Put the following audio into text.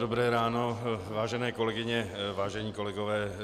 Dobré ráno, vážené kolegyně, vážení kolegové.